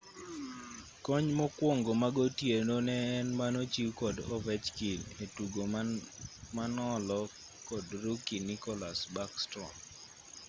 kony mokwongo magotieno ne en manochiw kod ovechkin e tugo manolo kod rookie nicholas backstrom